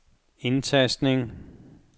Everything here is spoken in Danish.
indtastning